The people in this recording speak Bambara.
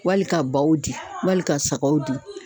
Wali ka baw di, wali ka sagaw di